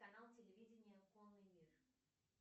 канал телевидения конный мир